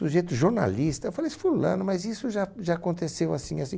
Sujeito jornalista, eu falei assim, fulano, mas isso já já aconteceu assim, assim.